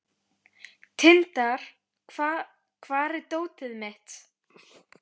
Tindar, hvar er dótið mitt?